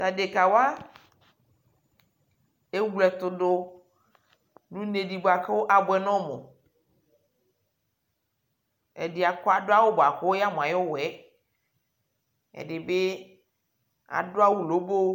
Tʊ adekawa ewletʊdʊ nʊ une dɩ bua kʊ abuɛ nʊ ɔmʊ, ɛdɩ adʊ awu bua yamʊ aƴʊ uwɔ yɛ, ɛdɩbɩ adʊ awu lobo